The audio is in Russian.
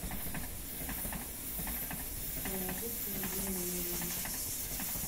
положи сто рублей на мой номер